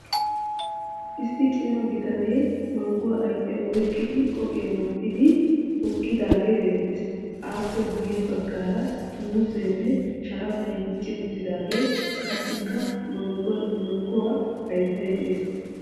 Issi cima bitane mangguwa ayifiya oyiqqidi qophiya wottidi hokkidaagee beettes. Aappe guyye baggaara muuzzeenne sharafay dicci uttidaage qassikka mangguwa hayittay des.